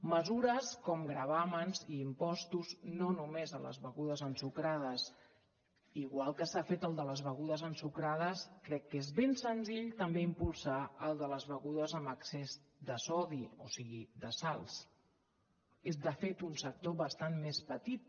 mesures com gravàmens i impostos no només a les begudes ensucrades igual que s’ha fet el de les begudes ensucrades crec que és ben senzill també impulsar el de les begudes amb excés de sodi o sigui de sals és de fet un sector bastant més petit